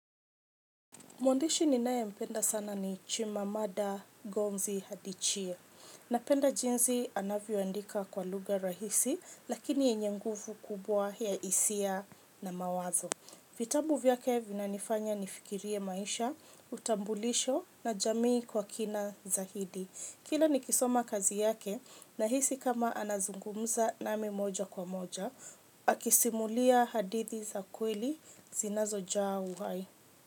Mwandishi ninae mpenda sana ni chimamada gonzi hadichie. Napenda jinsi anavyoandika kwa lugha rahisi, lakini yenye nguvu kubwa ya hisia na mawazo. Vitabu vyake vinanifanya nifikirie maisha, utambulisho na jamii kwa kina za hidi. Kila nikisoma kazi yake, nahisi kama anazungumza nami moja kwa moja, akisimulia hadithi za kweli zinazo jaa uhai.